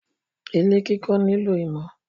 Ilé kiko nilo imo